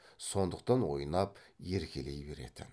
сондықтан ойнап еркелей беретін